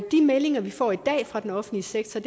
de meldinger vi får i dag fra den offentlige sektor